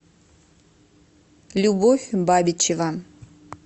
любовь бабичева